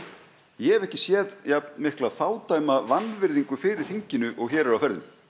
ég hef ekki séð jafn mikla fádæma vanvirðingu fyrir þinginu og hér er á ferðinni